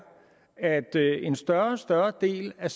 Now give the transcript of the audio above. at en større og større del af